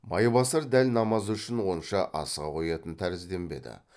майбасар дәл намаз үшін онша асыға қоятын тәрізденбеді